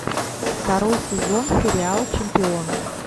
второй сезон сериал чемпион